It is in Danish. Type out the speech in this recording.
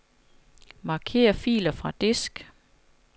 Marker filer fra disk.